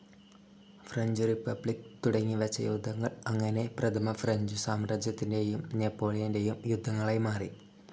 French Republic തുടങ്ങിവെച്ച യുദ്ധങ്ങൾ അങ്ങനെ പ്രഥമ ഫ്രഞ്ച്‌ സാമ്രാജ്യത്തിന്റേയും നെപോളിയന്റേയും യുദ്ധങ്ങളായി മാറി.